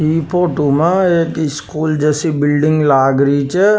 इ फोटो में स्कूल जैसी बिल्डिंग लाग री छ।